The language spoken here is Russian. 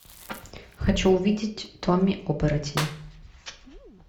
хочу увидеть томми оборотень